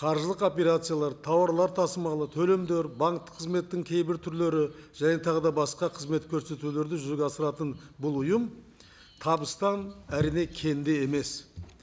қаржылық операциялар тауарлар тасымалы төлемдер банктік қызметтің кейбір түрлері және тағы да басқа қызмет көрсетулерді жүзеге асыратын бұл ұйым табыстан әрине кем де емес